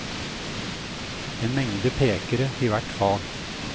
En mengde pekere til hvert fag.